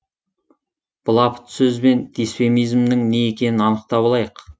былапыт сөз бен дисфемизмнің не екенін анықтап алайық